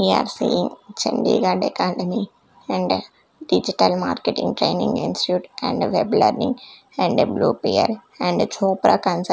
we are seeing chandigarh academy and digital marketing training institute and web learning and W_P_L and a jhopra consul --